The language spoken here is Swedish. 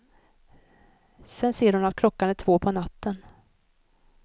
Sedan ser hon att klockan är två på natten.